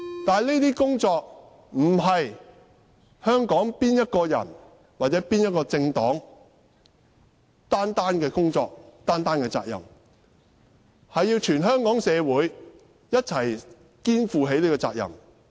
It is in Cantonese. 但這些工作不是香港某一個人或某一個政黨單方面的工作和責任，而是全港社會一起肩負的責任。